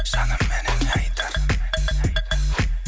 жаным менің не айтарым